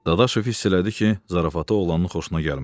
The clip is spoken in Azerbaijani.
Dadaşov hiss elədi ki, zarafatı oğlanın xoşuna gəlmədi.